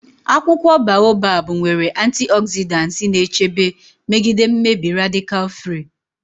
Akwụkwọ Baobab nwere antioxidants na-echebe megide mmebi radical free.